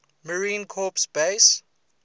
marine corps base